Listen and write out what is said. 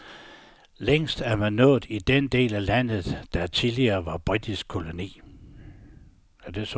Længst er man nået i den del af landet, der tidligere var britisk koloni.